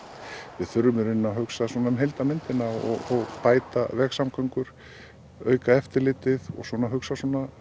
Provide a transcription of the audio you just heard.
við þurfum að hugsa um heildarmyndina og bæta vegasamgöngur auka eftirlitið og hugsa